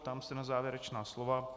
Ptám se na závěrečná slova.